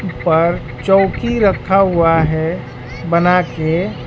पर चौकी रखा हुआ है बनाके।